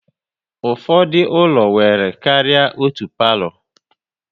Ụfọdụ ụlọ nwere karịa otú palo